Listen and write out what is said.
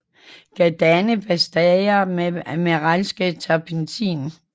Kan danne pastaer med mineralsk terpentin